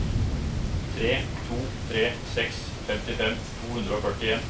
tre to tre seks femtifem to hundre og førtien